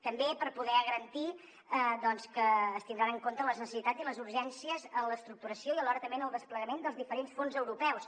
també per poder garantir doncs que es tindran en compte les necessitats i les urgències en l’estructuració i alhora també en el desplegament dels diferents fons europeus